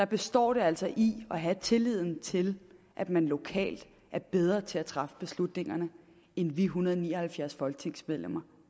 består det altså i at have tilliden til at man lokalt er bedre til at træffe beslutningerne end vi en hundrede og ni og halvfjerds folketingsmedlemmer